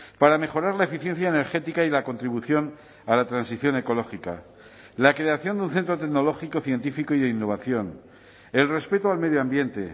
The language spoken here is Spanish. para mejorar la eficiencia energética y la contribución a la transición ecológica la creación de un centro tecnológico científico y de innovación el respeto al medio ambiente